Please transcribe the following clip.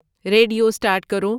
radio start کرو